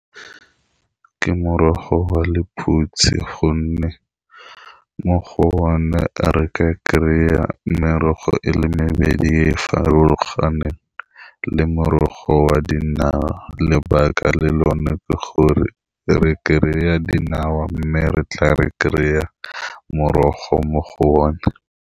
Ke morogo wa lephutsi gonne mo go one re ka kry-a a merogo e le mebedi farologaneng, le ka morogo wa dinawa lebaka le lone ke gore re kry-a dinawa, mme re tla re kry-a morogo mo go o ne.